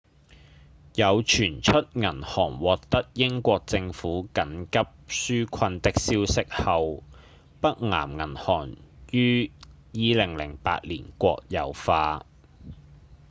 在傳出銀行獲得英國政府緊急紓困的消息後北岩銀行於2008年國有化